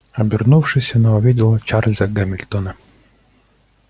обернувшись она увидела чарлза гамильтона